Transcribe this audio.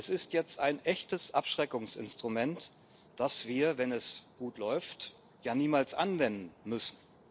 Es ist jetzt ein echtes Abschreckungsinstrument, das wir, wenn es gut läuft, ja niemals anwenden müssen.